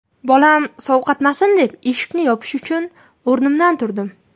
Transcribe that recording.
Bolam sovqotmasin deb, eshikni yopish uchun o‘rnimdan turdim.